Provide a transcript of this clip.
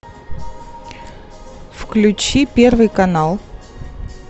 включи первый канал